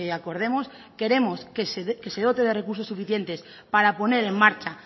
acordemos queremos que se dote de recursos suficientes para poner en marcha